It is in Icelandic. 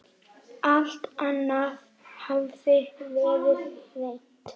Alt annað hafði verið reynt.